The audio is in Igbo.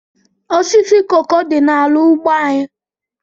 Osisi koko dị n'ala ugbo anyị.